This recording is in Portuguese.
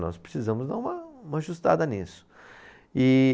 Nós precisamos dar uma, uma ajustada nisso. E